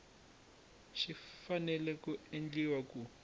xi fanele ku endliwa ku